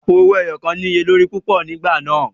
Àpo owó ẹyọ kàn ní iye lórí púpọ̀ nígbà náà.